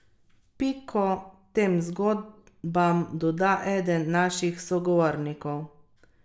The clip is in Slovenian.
Piko tem zgodbam doda eden naših sogovornikov.